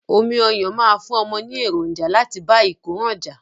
Omi ọyán máa fún ọmọ ní èròǹjà láti bá ìkóràn jà.